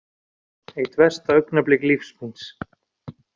Eitt versta augnablik lífs míns